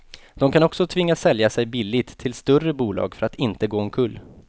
De kan också tvingas sälja sig billigt till större bolag för att inte gå omkull.